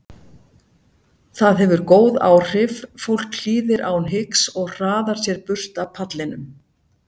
Það hefur góð áhrif, fólk hlýðir án hiks og hraðar sér burt af pallinum.